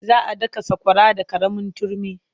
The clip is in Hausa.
Za a daka sakwara da ƙaramin turmi.